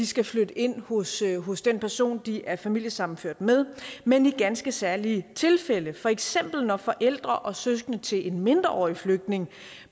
skal flytte ind hos ind hos den person de er familiesammenført med men i ganske særlige tilfælde for eksempel når forældre og søskende til en mindreårig flygtning